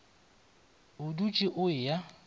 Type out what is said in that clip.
o dutše o e ya